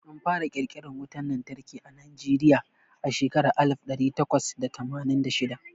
Anfara ƙirƙiran wutan lantarki a Najeriya a shekarar alif ɗari takwas da tamanin da shida.